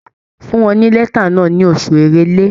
Fún wọn ní lẹ́tà náà ní oṣù Èrèlé.